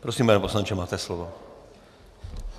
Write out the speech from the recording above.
Prosím, pane poslanče, máte slovo.